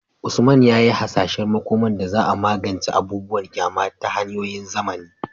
Usman ya yi hasashen makomar da za a magance abubuwan ƙyama da hanyoyin zamani